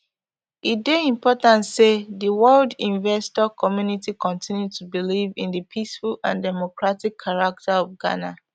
e dey important say di world investor community continue to believe in di peaceful and democratic character of ghana